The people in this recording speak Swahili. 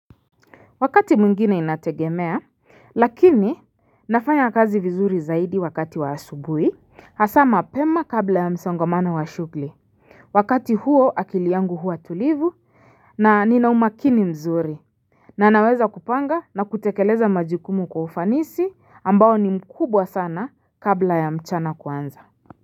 Wakati mwingine inategemea lakini nafanya kazi vizuri zaidi wakati wa asubuhi Hasa mapema kabla ya msongamano wa shugli Wakati huo akili yangu huwa tulivu na nina umakini mzuri na naweza kupanga na kutekeleza majukumu kwa ufanisi ambao ni mkubwa sana kabla ya mchana kuanza.